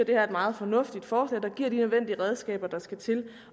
det er et meget fornuftigt forslag der giver de nødvendige redskaber der skal til